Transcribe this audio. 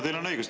Teil on õigus.